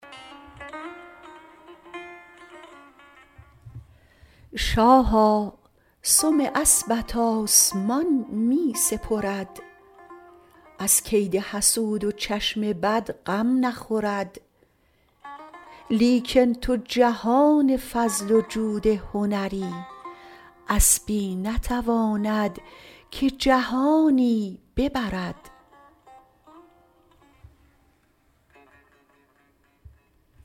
شاها سم اسبت آسمان می سپرد از کید حسود و چشم بد غم نخورد لیکن تو جهان فضل و جود و هنری اسبی نتواند که جهانی ببرد